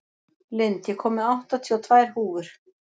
Lind, ég kom með áttatíu og tvær húfur!